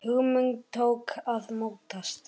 Hugmynd tók að mótast.